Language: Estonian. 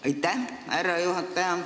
Aitäh, härra juhataja!